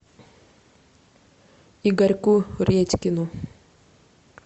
игорьку редькину